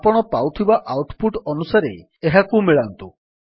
ଆପଣ ପାଉଥିବା output ଅନୁସାରେ ଏହାକୁ ମିଳାନ୍ତୁ